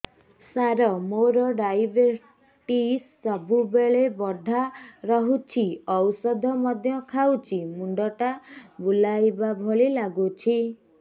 ସାର ମୋର ଡାଏବେଟିସ ସବୁବେଳ ବଢ଼ା ରହୁଛି ଔଷଧ ମଧ୍ୟ ଖାଉଛି ମୁଣ୍ଡ ଟା ବୁଲାଇବା ଭଳି ଲାଗୁଛି